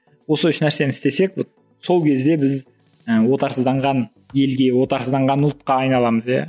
осы үш нәрсені істесек вот сол кезде біз ы отарсызданған елге отарсызданған ұлтқа айналамыз иә